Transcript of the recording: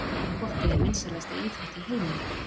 Fótbolti er vinsælasta íþrótt í heimi.